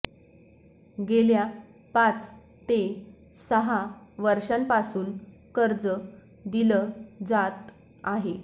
गेल्या पाच ते सहा वर्षांपासून कर्ज दिलं जातं आहे